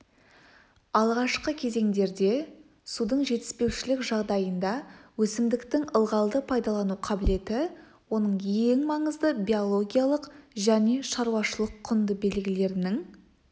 алғашқы кезеңдерде судың жетіспеушілік жағдайында өсімдіктің ылғалды пайдалану қабілеті оның ең маңызды биологиялық және шаруашылық-құнды белгілерінің